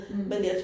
Mh